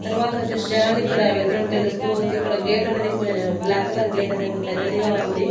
తర్వాతొచ్చేసి జనాలు ఇక్కడ వెళ్తున్నట్టు తెలుస్తూ ఉంది ఇక్కడ గేట్ అనేది కు బ్లాక్ కలర్ గేటనేది అనేది కొంచెం పెద్దదిగా ఉంది.